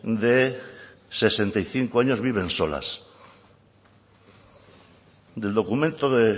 de sesenta y cinco años viven solas del documento de